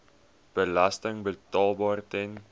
belasting betaalbaar ten